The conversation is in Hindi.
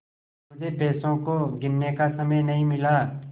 मुझे पैसों को गिनने का समय नहीं मिला